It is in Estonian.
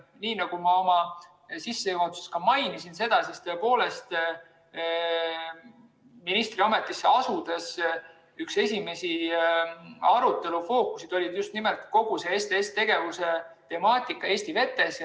Nii nagu ma oma sissejuhatuses mainisin, tõepoolest, ministriametisse asudes oli minu üks esimesi arutelufookuseid just nimelt kogu see STS‑tegevuse temaatika Eesti vetes.